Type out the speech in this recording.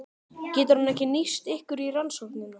Getur hann ekki nýst ykkur í rannsókninni?